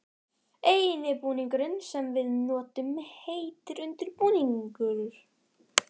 eini búningurinn sem við notum heitir undir-búningur.